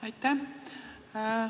Aitäh!